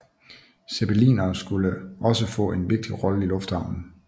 Zeppelinere skulle også få en vigtigt rolle i lufthavnen